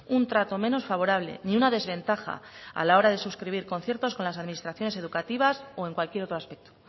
un trato menos favorable ni una desventaja a la hora de suscribir conciertos con las administraciones educativas o en cualquier otro aspecto